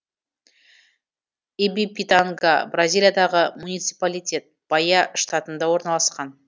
ибипитанга бразилиядағы муниципалитет баия штатында орналасқан